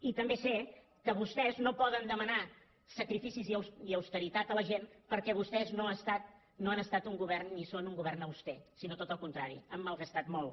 i també sé que vostès no poden demanar sacrificis ni austeritat a la gent perquè vostès no han estat un govern ni són un govern auster sinó tot al contrari han malgastat molt